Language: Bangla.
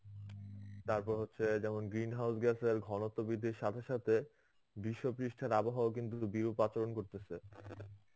তারপর হচ্ছে যেমন green house গ্যাসের ঘনত্ববিদদের সাথে সাথে বিশ্ব পৃষ্ঠার আবহাওয়া কিন্তু বিরূপ আচরণ করতেছে.